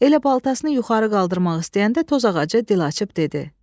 Elə baltasını yuxarı qaldırmaq istəyəndə toz ağacı dil açıb dedi: